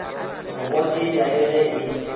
go gotetša le ge e